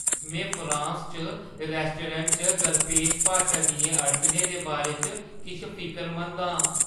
में फ्रांस च रैस्टोरैंटें च दरपेश भाशा दियें अड़चनें दे बारे च किश फिकरमंद आं।